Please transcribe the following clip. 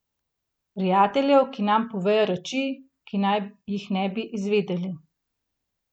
Prijateljev, ki nam povejo reči, ki naj jih ne bi izvedeli.